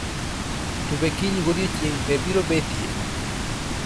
to be kiny godiechieng' pee biro betie